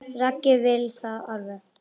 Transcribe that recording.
Raggi vill það alveg.